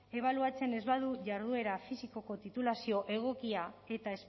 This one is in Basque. ebaluatzen ez badu jarduera fisikoko titulazio egokia eta